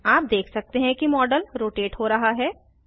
आप देख सकते हैं कि मॉडल रोटेट हो रहा है